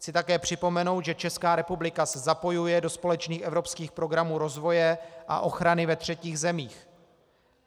Chci také připomenout, že Česká republika se zapojuje do společných evropských programů rozvoje a ochrany ve třetích zemích.